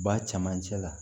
Ba camancɛ la